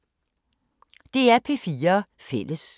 DR P4 Fælles